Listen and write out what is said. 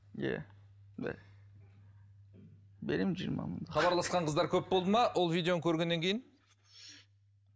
иә беремін жиырма мың хабарласқан қыздар көп болды ма ол видеоны көргеннен кейін